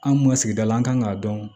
An kun ka sigida la an kan k'a dɔn